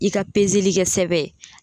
I ka peseli kɛ sɛbɛn.